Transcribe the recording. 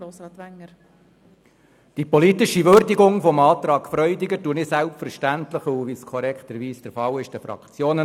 der SiK. Die politische Würdigung des Antrags Freudiger überlasse ich, wie es korrekterweise der Fall ist, den Fraktionen.